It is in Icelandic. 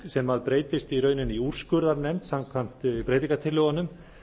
sem breytist í rauninni í úrskurðarnefnd samkvæmt breytingartillögunum